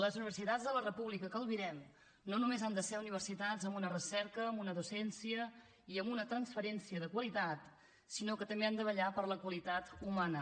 les universitats de la república que albirem no només han de ser universitats amb una recerca amb una docència i amb una transferència de qualitat sinó que també han de vetllar per la qualitat humana